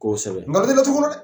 Kosɛbɛ; N ŋalon tɛ laturu kɔnɔ dɛ.